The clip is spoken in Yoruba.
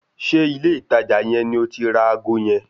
Ṣé ilé ìtajà yẹn ni o ti ra ago yẹn?